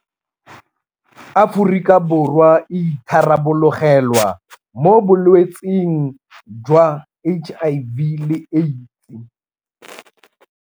Aforika Borwa e itharabologelwa mo bolwetseng jwa HIV le AIDS.